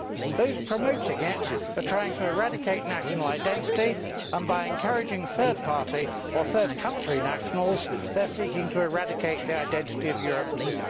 Those promoting it are trying to eradicate national identity and, by encouraging third party or third country nationals, they are seeking to eradicate the identity of Europe too.